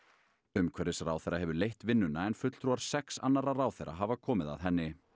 umhverfisráðherra hefur leitt vinnuna en fulltrúar sex annarra ráðherra hafa komið að henni